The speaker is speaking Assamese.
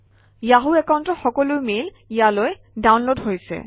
য়াহু একাউণ্টৰ সকলো মেইল ইয়ালৈ ডাউনলোড হৈছে